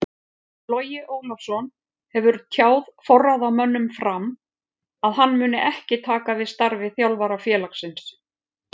Logi Ólafsson hefur tjáð forráðamönnum FRAM að hann muni ekki taka við starfi þjálfara félagsins.